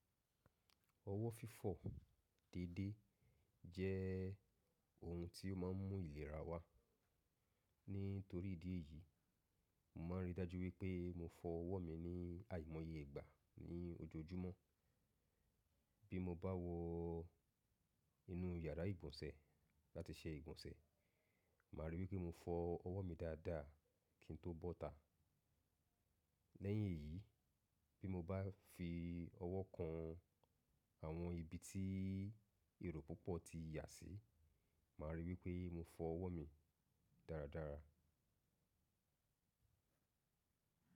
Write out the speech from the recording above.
Ọwọ́ fífọ̀ déedé jẹ́ ohun tí ó má ń mú ìlera wá. Nítorí ìdí èyí, mo ma ń rí i dájú wipé mo fọ ọwọ́ mi ní àìmọye ìgbà ní ojoojúmọ́. Bí mo bá wọ inú yàrá ìgbọ̀nsẹ̀ láti ṣe ìgbọ̀nsẹ̀, màá rí i wí pé mo fọ ọwọ́ mi dáadáa kí n tó bọ́ta. Lẹ́yìn èyí, bí mo bá fi ọwọ́ kan àwọn ibi tí èru púpọ̀ ti yà sí, màá rí i wí pé mo fọ ọwọ́ mi dáradára.